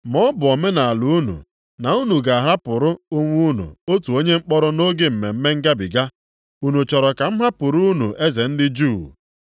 Ma ọ bụ omenaala unu, na m ga-ahapụrụ unu otu onye mkpọrọ nʼoge Mmemme Ngabiga. Unu chọrọ ka m hapụrụ unu ‘eze ndị Juu’?”